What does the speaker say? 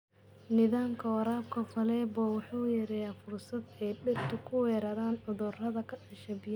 Nidaamka waraabka faleebo wuxuu yareeyaa fursada ay dhirta ku weeraraan cudurrada ka dhasha biyaha.